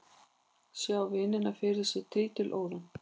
Sá vinina fyrir sér trítilóða.